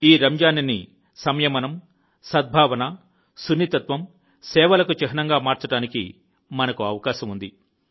ఈ రంజాన్ ని సంయమనం సద్భావన సున్నితత్వం మరియు సేవలకు చిహ్నంగా మార్చడానికి మనకు అవకాశం ఉంది